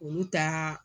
Olu ta